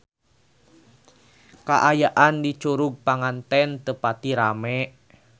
Kaayaan di Curug Panganten teu pati rame